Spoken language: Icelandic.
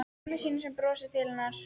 Mömmu sína sem brosir til hennar.